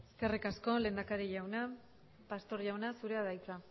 eskerrik asko lehendakari jauna pastor jauna zurea da hitza